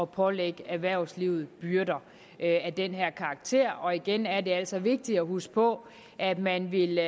pålægge erhvervslivet byrder af den her karakter og igen er det altså vigtigt at huske på at man vil